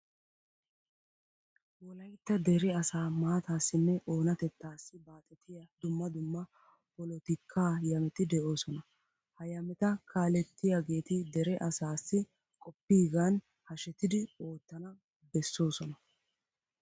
Wolaytta dere asaa maataassinne oonatettaassi baaxetiya dumma dumma polotikaa yameti de'oosona. Ha yameta kaalettiyageeti dere asaassi qoppiyigan hashetidi oottana bessoosona.